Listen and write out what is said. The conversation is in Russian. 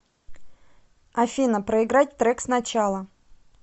афина проиграть трек сначала